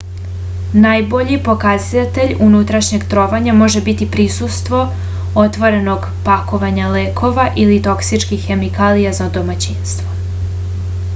najbolji pokazatelj unutrašnjeg trovanja može biti prisustvo otvorenog pakovanja lekova ili toksičnih hemikalija za domaćinstvo